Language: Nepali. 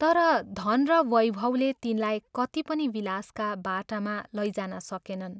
तर धन र वैभवले तिनलाई कत्ति पनि विलासका बाटामा लैजान सकेनन्।